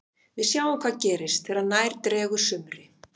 Við sjáum hvað gerist þegar nær dregur sumri.